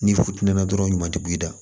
Ni funteni na dɔrɔn o ɲuman tɛ bɔ i da